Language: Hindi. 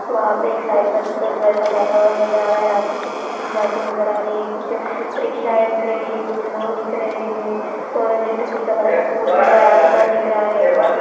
वहां पे एक साइकल पे लड़का जाता हुआ नजर आ रहा है रास्ते से स्कूटी जाती हुई नजर आ रही है कुछ रिक्शा हैं दिख रही हैं कुछ लोग दिख रहे हैं और इलेक्ट्रिसिटी का बड़ा-सा पोल दिख रहा हैं आसमान दिख रहा है।